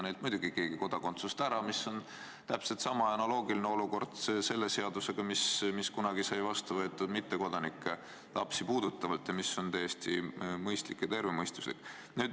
See olukord on täpselt sama ja analoogiline võrreldes seadusega, mis sai kunagi vastu võetud mittekodanike lastega seoses ning mis on täiesti mõistlik ja tervemõistuslik.